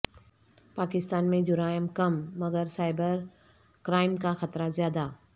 پاکستان میں جرائم کم مگر سائبر کرائم کا خطرہ زیادہ